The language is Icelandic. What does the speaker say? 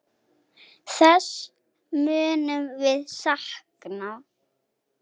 Þess munum við sakna.